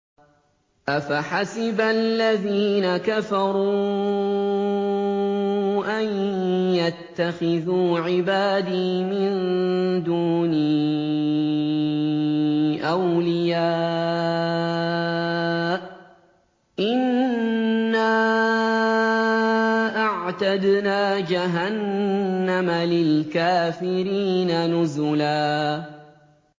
أَفَحَسِبَ الَّذِينَ كَفَرُوا أَن يَتَّخِذُوا عِبَادِي مِن دُونِي أَوْلِيَاءَ ۚ إِنَّا أَعْتَدْنَا جَهَنَّمَ لِلْكَافِرِينَ نُزُلًا